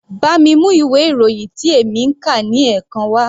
Bá mi mú ìwé ìròyìn tí èmi ń kà ní ẹ̀kan wá.